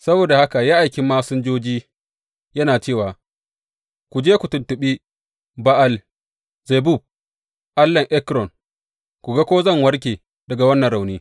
Saboda haka ya aiki masinjoji, yana cewa, Ku je ku tuntuɓi Ba’al Zebub, allahn Ekron, ku ga ko zan warke daga wannan rauni.